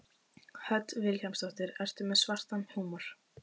Hödd Vilhjálmsdóttir: Ertu með svartan húmor?